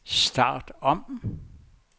start om